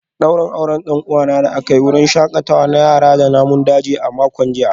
Daurin auren dan uwana da aka yi a wurin shakatawa na yara da namun daji a makon jiya